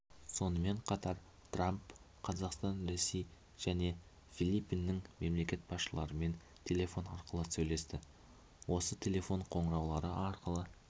сонымен қатар трамп қазақстан ресей және филиппиннің мемлекет басшыларымен телефон арқылы сөйлесті осы телефон қоңыраулары арқылы